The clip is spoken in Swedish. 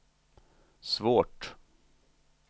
svårt